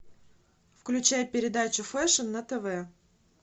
включай передачу фэшн на тв